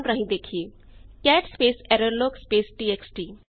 ਆਓ ਕਮਾੰਡ ਰਾਹੀਂ ਦੇਖੀਏ cat space error log space txt